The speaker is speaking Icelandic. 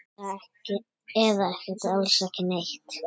Eða bara alls ekki neitt?